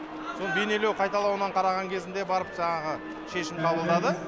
сол бейнені қайталауынан қараған кезінде барып жаңағы шешім қабылдады